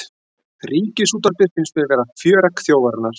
Ríkisútvarpið finnst mér vera fjöregg þjóðarinnar